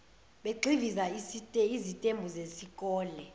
begxiviza izitembu zezikole